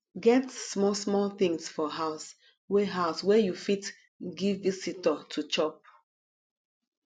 get small small things for house wey house wey you fit give visitor to chop